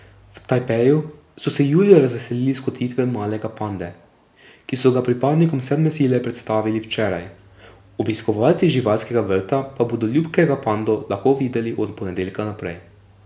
V Tajpeju so se julija razveselili skotitve malega pande, ki so ga pripadnikom sedme sile predstavili včeraj, obiskovalci živalskega vrta pa bodo ljubkega pando lahko videli od ponedeljka naprej.